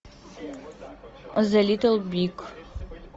зе литл биг